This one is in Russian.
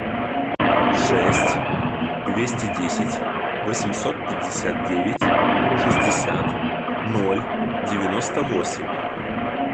шесть двести десять восемьсот пятьдесят девять шестьдесят ноль девяносто восемь